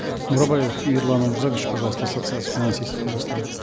бурабаев ерлан омирзакович пожалуйста ассоциация финансистов казахстана